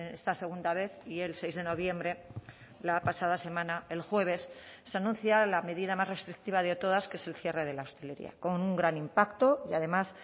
esta segunda vez y el seis de noviembre la pasada semana el jueves se anuncia la medida más restrictiva de todas que es el cierre de la hostelería con un gran impacto y además